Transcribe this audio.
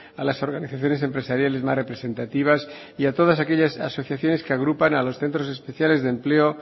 a las organizaciones empresariales más representativas y a todas aquellas asociaciones que agrupan a los centros especiales de empleo